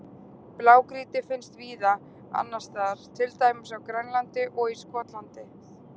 Blágrýti finnst víða annars staðar, til dæmis á Grænlandi og í Skotlandi.